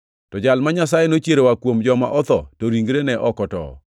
to Jal ma Nyasaye nochiero oa kuom joma otho to ringre ne ok otowo.